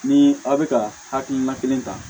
Ni aw bɛ ka hakilina kelen ta